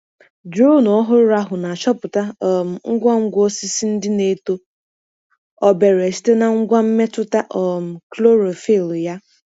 Drone ọhụrụ ahụ na-achọpụta um ngwa ngwa osisi ndị na-eto obere site na ngwa mmetụta um chlorophyll ya.